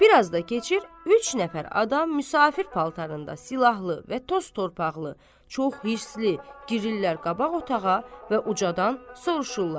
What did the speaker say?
Bir az da keçir, üç nəfər adam müsafir paltarında, silahlı və toz torpaqlı, çox hirslilər girirlər qabaq otağa və ucadan soruşurlar.